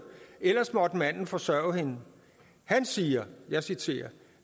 ellers måtte manden forsørge hende han siger og jeg citerer